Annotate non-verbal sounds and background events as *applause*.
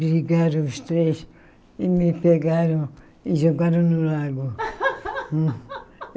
Brigaram os três e me pegaram e jogaram no lago. *laughs*